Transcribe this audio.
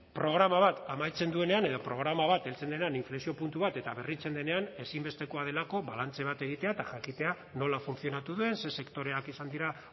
programa bat amaitzen duenean edo programa bat heltzen denean inflexio puntu bat eta berritzen denean ezinbestekoa delako balantze bat egitea eta jakitea nola funtzionatu duen ze sektoreak izan dira